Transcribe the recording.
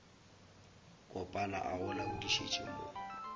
kopana a go laodišetša mo